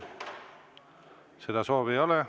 Seda soovi ei ole.